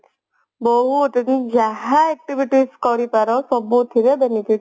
ବହୁତ ଯାହା activities କରିପାର ସବୁଥିରେ benefit